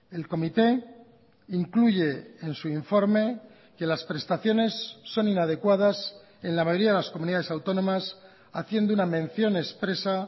el comité incluye en su informe que las prestaciones son inadecuadas en la mayoría de las comunidades autónomas haciendo una mención expresa